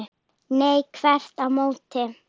Nei, þvert á móti.